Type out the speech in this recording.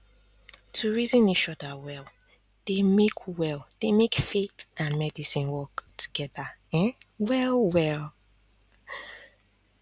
to reason each other well dey make well dey make faith and medicine work um together um well well